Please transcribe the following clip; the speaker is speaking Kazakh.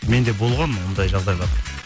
менде болған ондай жағыдайлар